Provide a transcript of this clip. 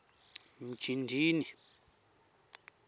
mjindini